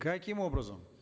каким образом